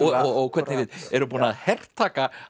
og hvernig við erum búin að hertaka